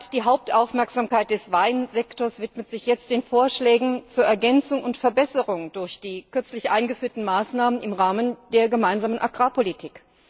Die Hauptaufmerksamkeit des Weinsektors widmet sich jetzt den Vorschlägen zur Ergänzung und Verbesserung durch die kürzlich eingeführten Maßnahmen im Rahmen der Gemeinsamen Agrarpolitik.